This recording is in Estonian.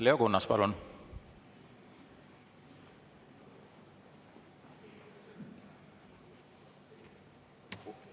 Leo Kunnas, palun!